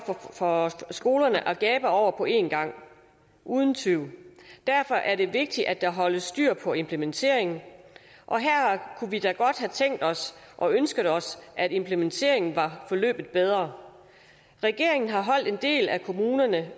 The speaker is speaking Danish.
for skolerne at gabe over på en gang uden tvivl derfor er det vigtigt at der holdes styr på implementeringen og her kunne vi da godt have tænkt os og ønsket os at implementeringen var forløbet bedre regeringen har holdt en del af kommunerne